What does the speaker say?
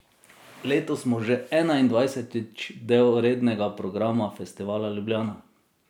Letos smo že enaindvajsetič del rednega programa Festivala Ljubljana.